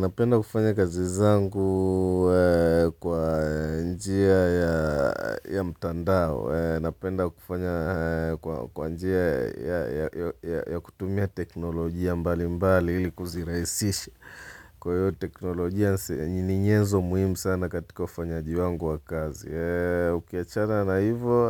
Napenda kufanya kazi zangu kwa njia ya mtandao. Napenda kufanya kwa njia ya kutumia teknolojia mbali mbali hili kuzirahisisha. Kwa yote teknolojia ni nyezo muhimu sana katika kufanyajiwangu wa kazi. Ukiachana na hivo